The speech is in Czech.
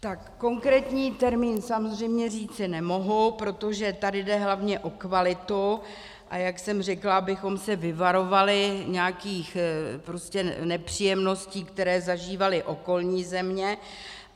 Tak konkrétní termín samozřejmě říci nemohu, protože tady jde hlavně o kvalitu, a jak jsem řekla, abychom se vyvarovali nějakých prostě nepříjemností, které zažívaly okolní země.